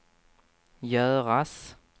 göras